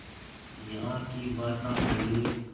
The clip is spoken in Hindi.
यहाँ की भाषा तमिल